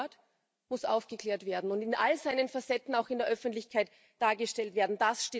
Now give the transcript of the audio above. Der Mord muss aufgeklärt werden und in all seinen Facetten auch in der Öffentlichkeit dargestellt werden.